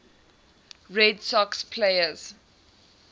red sox players